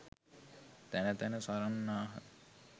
තැන තැන සරන්නාහ.